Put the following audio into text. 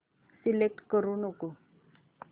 select करू नको